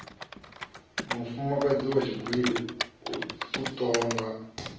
mufumakadzi wa tshigwili u tonga